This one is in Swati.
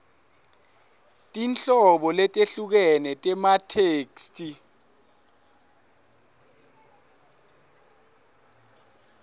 tinhlobo letehlukene tematheksthi